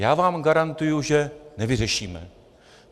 Já vám garantuji, že nevyřešíme.